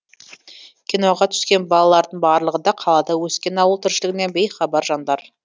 киноға түскен балалардың барлығы да қалада өскен ауыл тіршілігінен бейхабар жандар